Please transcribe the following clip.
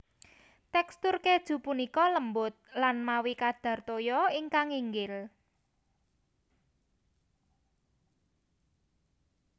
Tekstur kèju punika lembut lan mawi kadar toya ingkang inggil